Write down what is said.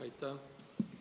Aitäh!